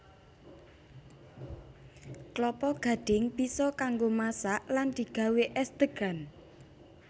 Klapa gadhing bisa kanggo masak lan digawé és degan